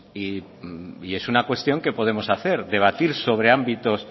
y es una cuestión que podemos hacer debatir sobre ámbitos